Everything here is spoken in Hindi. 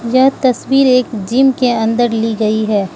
यह तस्वीर एक जिम के अंदर ली गई है।